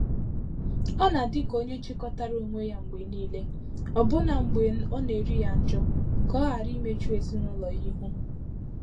Ọ́ nà-adị ka onye chikọtara onwe ya mgbè níílé, ọ́bụ́nà mgbè ọ́ nà-érí yá njọ́, kà ọ́ ghàrà íméchù èzínụ́lọ́ yá íhú.